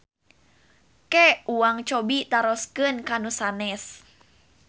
Ke uang cobi taroskeun ka nu sanes.